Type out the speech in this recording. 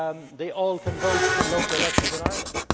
They can all vote in local elections in Ireland.